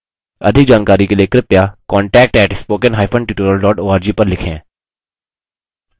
अधिक जानकारी के लिए कृपया contact @spokentutorial org पर लिखें